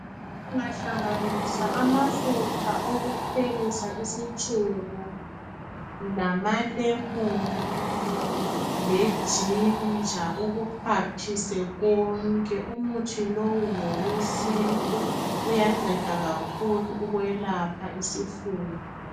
Ungahlanganisa amafutha okuphekisa isitshebo, lamalemoni, lejinja. Ukuxhwathise konke. Umuthi lowu ngowesintu. Uyanceda kakhulu. Ukwelapha isifuba.